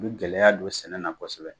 U bi gɛlɛya don sɛnɛ na kosɛbɛ .